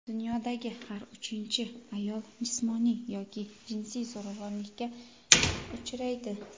Dunyodagi har uchinchi ayol jismoniy yoki jinsiy zo‘ravonlikka uchraydi.